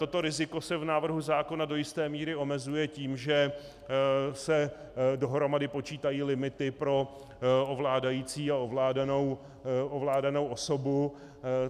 Toto riziko se v návrhu zákona do jisté míry omezuje tím, že se dohromady počítají limity pro ovládající a ovládanou osobu.